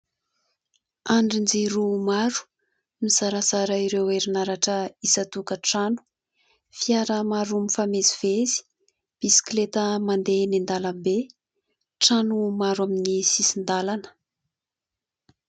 Andrin-jiro maro mizarazara ireo herinaratra isan-tokantrano, fiara maro mifamezivezy, bisikleta mandeha eny an-dàlambe ,trano maro amin'ny sisin-dàlana.